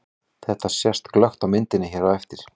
Þetta sést glöggt á myndinni hér á eftir.